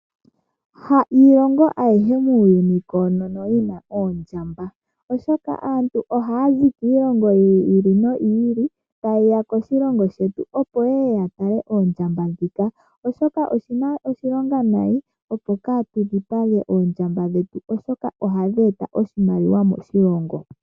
Ha iilongo ahiye muuyuni koonono yina oondjamba, oshoka aantu ohaya zi kiilongo yi li noyi li ta yeya koshilongo shetu opo yeye ya tale oondjamba dhika. Oshoka oshina oshilongo nayi opo katu dhipage oondjamba dhetu, oshoka ohadhi eta oshimaliwa moshilongo.